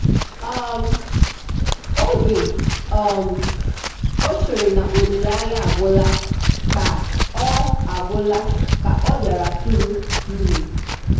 um oge um o chere na olileanya agwụla ka ọ agwụla ka ọ bịara tụrụ ime.